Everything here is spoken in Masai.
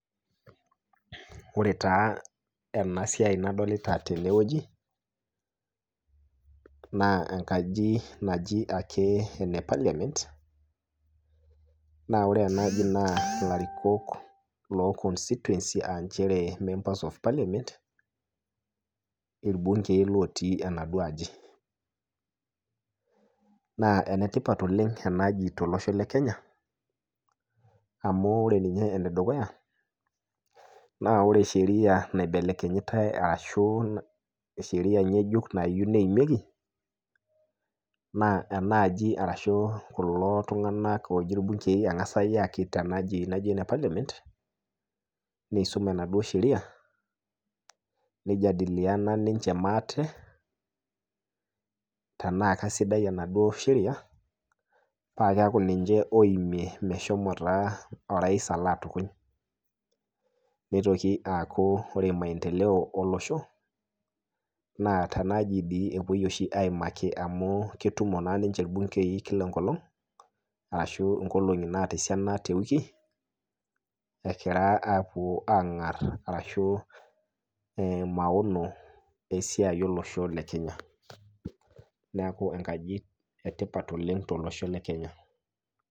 Ore taa ena siai nadolita teneweji naa enkaji naake naji ene parliament, naa ore enkaaji ilarikok lekonstituensi aa members le parliament irbungei lotii enaduo aji ,naa enetipat oleng enaaji tolosho lekenya amu ore ninye enedukuya naa ore Sheria naibelekenyitae ashu sheria ngejuk nayieu neimieki naa enaa aji ashu kulo tunganak engasi ayaki tendaaji naji ene parliament nisum enaduo Sheria nijadiliana ninche maate trena keisidai enaduo sheria paa keeku naa niche oimiet meshomo orais alo atukuny. nitoki sii aku ore maendeleo olosho ,tendaaji oshi epuoi aimaki amu ketumo naa ninche irbungei Kila enkolong ashu nkolongi naata esiaina Kila eweki ,egira apuo angar ashu maono olosho lekenya ,neeku enkaji etipat oleng tolosho lekenya.